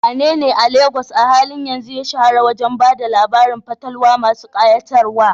Wanene a Legas a halin yanzu ya shahara wajen ba da labarun fatalwa masu kayatarwa?